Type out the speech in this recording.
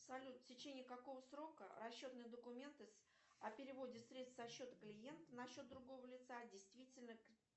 салют в течении какого срока расчетные документы о переводе средств со счета клиента на счет другого лица действительны